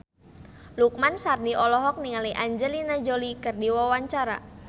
Lukman Sardi olohok ningali Angelina Jolie keur diwawancara